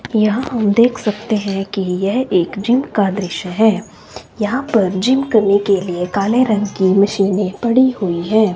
यहां हम देख सकते हैं कि यह एक जिम का दृश्य है यहां पर जिम करने के लिए काले रंग की मशीनें पड़ी हुई हैं।